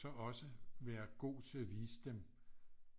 Så også være god til at vise dem